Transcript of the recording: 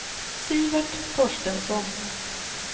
Sivert Torstensson